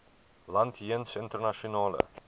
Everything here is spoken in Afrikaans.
land jeens internasionale